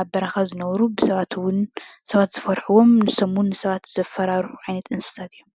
ኣብ በረካ ዝነብሩ ሰባት ዝፍርሕዎም ንሶም እውን ንሰባት ዘፋራርሑ ዓይነት እንስሳ እዩም።